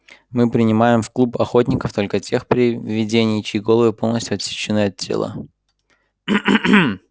мы принимаем в клуб охотников только тех привидений чьи головы полностью отсечены от тела